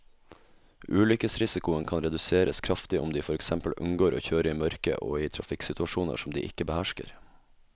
Ulykkesrisikoen kan reduseres kraftig om de for eksempel unngår å kjøre i mørket og i trafikksituasjoner som de ikke behersker.